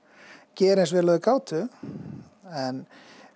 gera eins vel og þeir gátu en